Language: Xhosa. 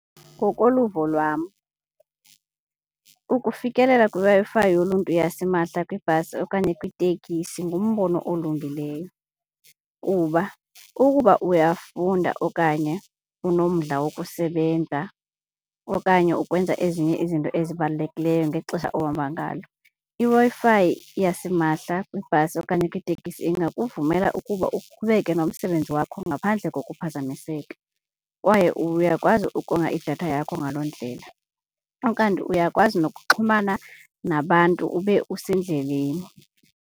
Ngokoluvo lwam ukufikelela kwiWi-Fi yoluntu yasimahla kwibhasi okanye kwitekisi ngumbono olungileyo kuba ukuba uyafunda okanye unomdla wokusebenza okanye ukwenza ezinye izinto ezibalulekileyo ngexesha ohamba ngalo, iWi-Fi yasimahla kwibhasi okanye kwitekisi ingakuvumela ukuba uqhubeke nomsebenzi wakho ngaphandle kokuphazamiseka kwaye uyakwazi ukonga idatha yakho ngaloo ndlela. Ukanti uyakwazi nokuxhumana nabantu ube usendleleni.